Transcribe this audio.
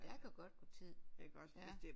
Der kan godt gå tid ja